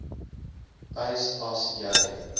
eis as jy